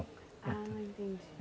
Ah, não entendi.